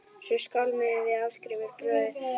Svo skálmuðum við Ásgrímur bróðir út úr bænum.